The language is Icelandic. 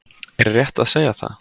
Er rétt að segja það?